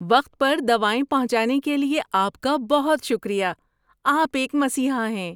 وقت پر دوائیں پہنچانے کے لیے آپ کا بہت شکریہ۔ آپ ایک مسیحا ہیں۔